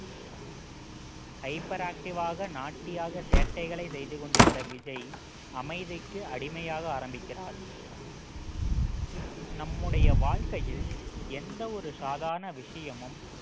hyper active ஆக naughty யாக சேட்டைகளை செய்து கொண்டிருந்த விஜய் அமைதிக்கு அடிமையாக ஆரம்பிக்கிறார் நம்முடைய வாழ்க்கையில் எந்த ஒரு சாதாரண விஷயமும்